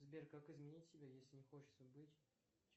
сбер как изменить себя если не хочется быть